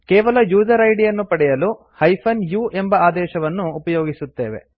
ಕೇವಲ user ID ಯನ್ನು ಪಡೆಯಲು- u ಎಂಬ ಆದೇಶವನ್ನು ಉಪಯೋಗಿಸುತ್ತೇವೆ